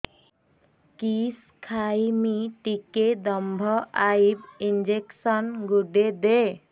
କିସ ଖାଇମି ଟିକେ ଦମ୍ଭ ଆଇବ ଇଞ୍ଜେକସନ ଗୁଟେ ଦେ